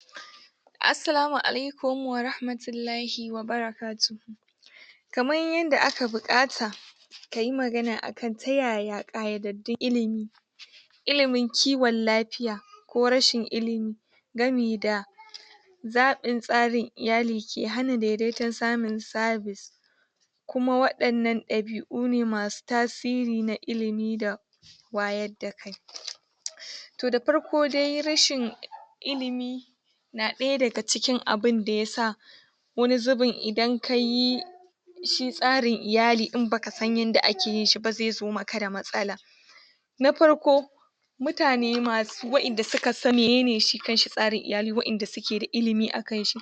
Assalamu alaikum warahmatullahi wabara katuhu kaman yadda aka buƙata kayi magana akan tayaya ƙayadandun ilimi ilimin kiwon lafiya ko rashin ilimi gamida zaɓin tsarin iyali ke hana dedaitan samun service kuma waɗannan ɗabi une masu tasiri na ilimi da wayarda kai daga farko dai rashin ilimi na ɗaya daga cikin abin da yasa wani zubin idan kayi shi tsarin iyalin idan baka san yanda akeyiba zezo da matsala na farko mutane wanda suka sani menene shi kanshi tsarin iyali wayanda sukeda ilimi akanshi